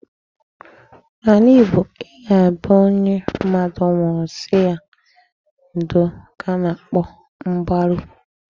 N'ala Igbo, ịga be onye mmadụ nwụụrụ sị ya ndo ka a na-akpọ mgbaru.